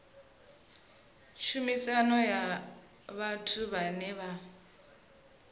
tshumelo ya vhathu vhane vha